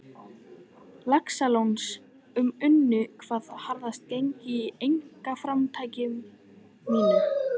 Laxalóns og unnu hvað harðast gegn einkaframtaki mínu.